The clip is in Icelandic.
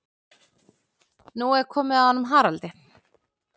Nú er komið að honum Haraldi.